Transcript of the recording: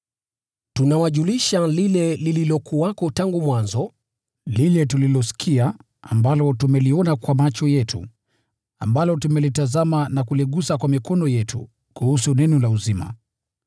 Tunawajulisha lile lililokuwepo tangu mwanzo, lile tulilosikia, ambalo tumeliona kwa macho yetu, ambalo tumelitazama na kuligusa kwa mikono yetu, kuhusu Neno la uzima.